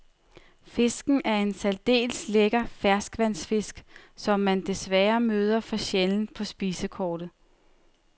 Fisken er en særdeles lækker ferskvandsfisk, som man desværre møder for sjældent på spisekortet.